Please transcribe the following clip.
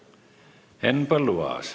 Henn Põlluaas.